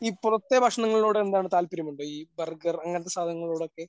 ഈ പുറത്തെ ഭക്ഷണങ്ങളോട് എന്താണ് താല്പര്യമുണ്ടോ ഈ ബർഗർ അങ്ങനത്തെ സാധനങ്ങളോടൊക്കെ?